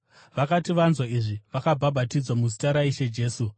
Vakati vanzwa izvi, vakabhabhatidzwa muzita raIshe Jesu.